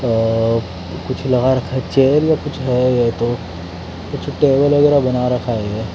अ कुछ लगा रखा है चेयर या कुछ है ये तो कुछ टेबल वगेरा बना रखा है ये --